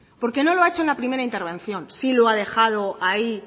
porque no lo ha hecho en la primera intervención sí lo ha dejado ahí